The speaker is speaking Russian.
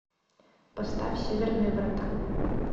поставь северные врата